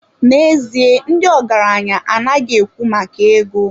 N'ezie, ndị ọgaranya anaghị ekwu maka ego